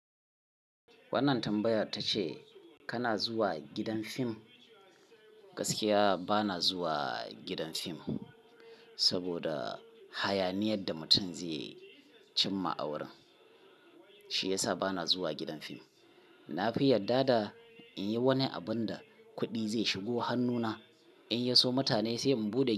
Wannan tambaya ta ce kana zuwa gidan fim? Gaskiya ba na zuwa gidan fim, saboda hayaniyar da mutum zai cimma a wurin, shi ya sa ba na zuwa gidan fim. Na fi yadda da in yi wani abin da kuɗi zai shigo hannuna in ya iso mutane sai in buɗe.